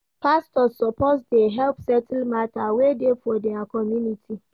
Pastors suppose dey help settle mata wey dey for their community.